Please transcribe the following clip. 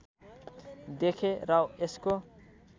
देखे र यसको